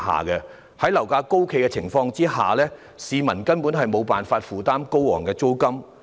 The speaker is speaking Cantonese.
在樓價高企的情況下，市民根本無法負擔高昂的租金。